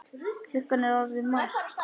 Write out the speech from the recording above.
Klukkan er orðin margt.